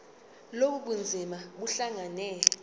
lobu bunzima buhlangane